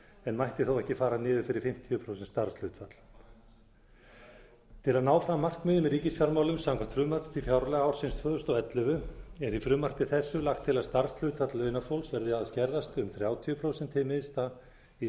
en mætti þó ekki fara niður fyrir fimmtíu prósent starfshlutfall til að ná fram markmiðum í ríkisfjármálum samkvæmt frumvarpi til fjárlaga ársins tvö þúsund og ellefu er í frumvarpi þessu lagt til að starfshlutfall launafólks verði að skerðast um þrjátíu prósent hið minnsta í